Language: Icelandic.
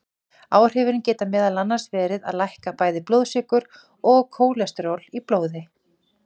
Áhrifin geta meðal annars verið að lækka bæði blóðsykur og kólesteról í blóði.